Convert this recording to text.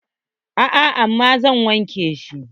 A'a, amma zan wanke shi.